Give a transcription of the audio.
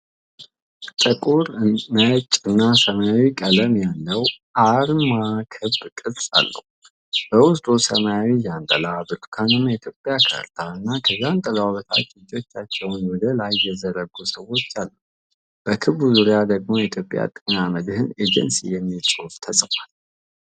ጥቁር፣ ነጭ እና ሰማያዊ ቀለም ያለው አርማ ክብ ቅርጽ አለው። በውስጡ ሰማያዊ ዣንጥላ፣ ብርቱካናማ የኢትዮጵያ ካርታ እና ከዣንጥላው በታች እጆቻቸውን ወደ ላይ የዘረጉ ሰዎች አሉ። በክቡ ዙሪያ ደግሞ የኢትዮጵያ ጤና መድህን ኤጀንሲ የሚለው ጽሑፍ ተጽፏል።